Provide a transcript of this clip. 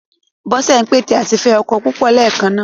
Bọ́sẹ̀ ń pète àti fẹ́ ọkọ púpọ̀ léèkan náà.